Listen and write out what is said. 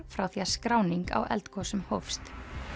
frá því að skráning á eldgosum hófst